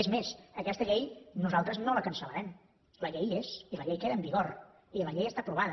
és més aquesta llei nosaltres no la cancel·larem la llei hi és i la llei queda en vigor i la llei està aprovada